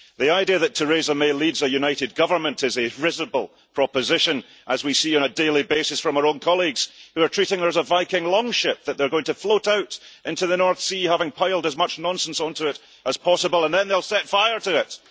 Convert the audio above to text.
The idea that Theresa May leads a united government is a risible proposition, as we see on a daily basis from our own colleagues who are treating her as a Viking longship that they are going to float out into the North Sea, having piled as much nonsense onto it as possible, and then they'll set fire to it.